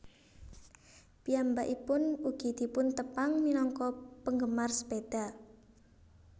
Piyambakipun ugi dipuntepang minangka penggemar sepeda